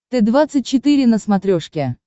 т двадцать четыре на смотрешке